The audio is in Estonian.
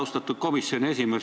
Austatud komisjoni esimees!